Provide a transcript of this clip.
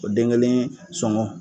O den kelen sɔngɔ